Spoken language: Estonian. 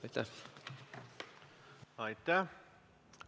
Aitäh!